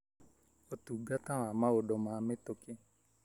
ũtungata wa maũndũ ma mĩtũkĩ: